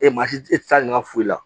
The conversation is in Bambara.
E maa si e tɛ taa ɲaman foyi la